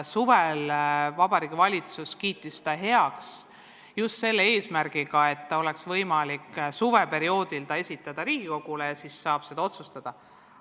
Suvel kiitis Vabariigi Valitsus eelnõu heaks just selle eesmärgiga, et oleks võimalik see suveperioodil Riigikogule esitada ja siis saaks selle üle ka otsustada.